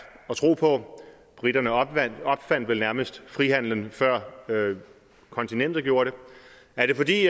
at tro på briterne opfandt vel nærmest frihandelen før kontinentet gjorde det er det fordi